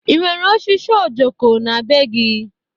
E nwere osisi ojoko na-be gị?